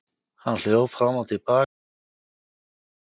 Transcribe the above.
Hann hljóp fram og til baka eftir árbakkanum og kallaði.